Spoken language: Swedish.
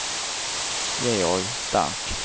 Georg Stark